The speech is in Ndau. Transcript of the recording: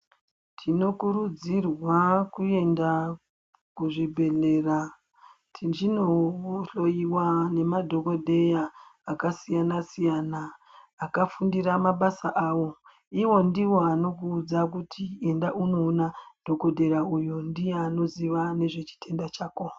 Tinokurudzirwa kuenda kuzvibhedhlera, tichinohloyiwa nemadhogodheya akasiyana-siyana akafundira mabasa awo, iwo ndiwo anokuudza kuti enda unoona dhogodheya uyo ndiye anoziya nezvechitenda chako.